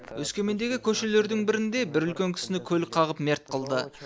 өскемендегі көшелердің бірінде бір үлкен кісіні көлік қағып мерт қылды